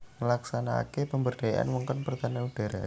Nglaksanakaké pemberdayaan wewengkon pertahanan udhara